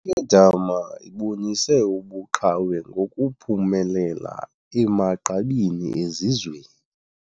Le nkedama ibonise ubuqhawe ngokuphumelela emagqabini ezizweni